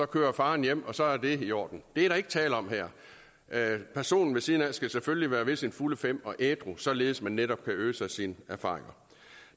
køre faren hjem og så er det i orden det er der ikke tale om her personen ved siden af skal selvfølgelig være ved sine fulde fem og ædru således at man netop kan øse af sine erfaringer